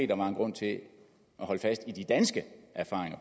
der var en grund til at holde fast i de danske erfaringer